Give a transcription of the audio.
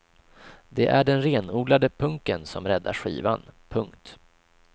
Det är den renodlade punken som räddar skivan. punkt